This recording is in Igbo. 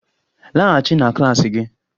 Laghachi na klas gị!